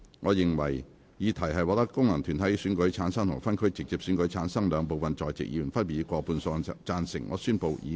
我認為議題獲得經由功能團體選舉產生及分區直接選舉產生的兩部分在席議員，分別以過半數贊成。